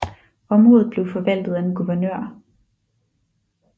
Området blev forvaltet af en guvernør